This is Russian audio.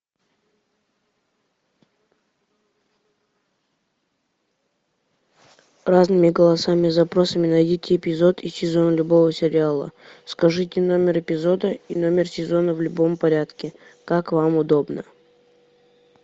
разными голосами и запросами найдите эпизод и сезон любого сериала скажите номер эпизода и номер сезона в любом порядке как вам удобно